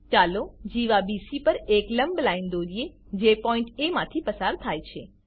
ચાલો જીવા બીસી પર એક લંબ લાઈન દોરીએ જે પોઈન્ટ એ માંથી પસાર થાય છે